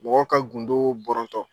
Mɔgɔw ka gundo bɔrɔtɔ.